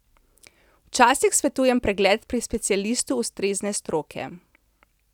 Včasih svetujem pregled pri specialistu ustrezne stroke.